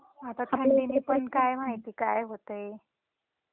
आता इकडे पण काय माहिती काय होतंय.